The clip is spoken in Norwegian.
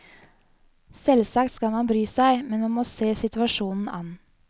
Selvsagt skal man bry seg, men man må se situasjonen an.